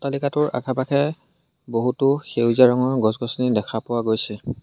এলেকাটোৰ আশে-পাশে বহুতো সেউজীয়া ৰঙৰ গছ-গছনি দেখা পোৱা গৈছে।